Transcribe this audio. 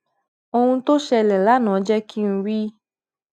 ohun tó ṣẹlè lánàá jé kí n rí